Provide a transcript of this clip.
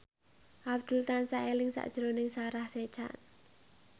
Abdul tansah eling sakjroning Sarah Sechan